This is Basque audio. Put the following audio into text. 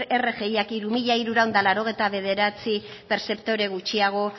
rgiak hiru mila hirurehun eta laurogeita bederatzi pertzeptore gutxiago